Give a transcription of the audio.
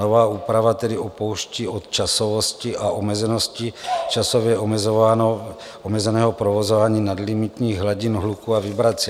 Nová úprava tedy upouští od časovosti a omezenosti časově omezeného provozování nadlimitních hladin hluku a vibrací.